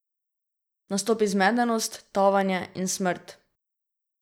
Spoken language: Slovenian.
Nastopi zmedenost, tavanje in smrt.